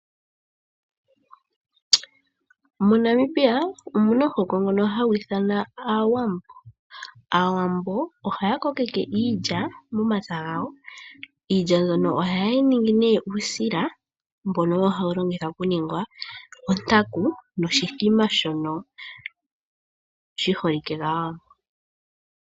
MoNamibia omuna omuhoko ngono hagu ithanwa Aawambo. Aawambo ohaya kokeke iilya momapya gawo, iilya mbyono ohaye yi ningi nduno uusila, mbono hawu longithwa okuninga ontaku, noshithima shono shi holike kAawambo.